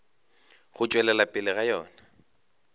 go tšwelela pele ga yona